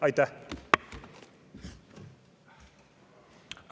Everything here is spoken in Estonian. Aitäh!